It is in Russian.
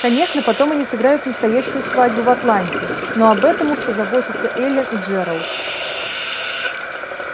конечно потом они сыграют настоящую свадьбу в атланте но об этом уж позаботятся эллин и джералд